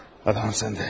Adam səndə.